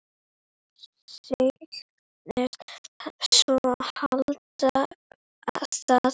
Segist svo halda það.